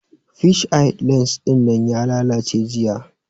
Fish eye lens dinnan ya lallace jiya